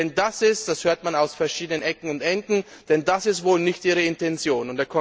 Denn das ist das hört man aus verschiedenen Ecken und Enden wohl nicht Ihre Intention.